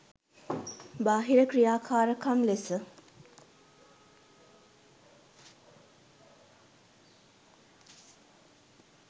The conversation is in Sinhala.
බාහිර ක්‍රියාකාරකම් ලෙස